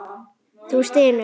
Þú stynur.